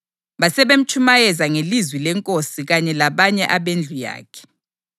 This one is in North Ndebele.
Basebemtshumayeza ngelizwi leNkosi kanye labanye abendlu yakhe.